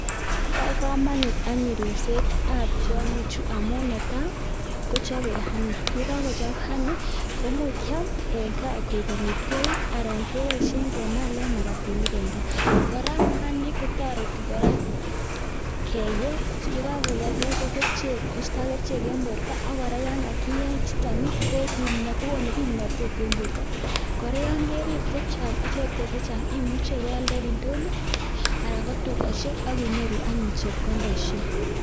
Bo komonut anyun ripsetab tiongichuu amun netai kochobe honey yekokochob honey komoch kiam en gaa ko ik amitwogiik. Alan keboishien kemalen makatinik en gaa, kora kumiat kotoretii keyee, yekakeyee koigu kerichek koistogee mianwogik ak kokon kimnotet en bortoo. Kora yon kerib chechang imuche ibealdei en indonyoo alan ko tugosiek ak inyoru anyun chepkondoishek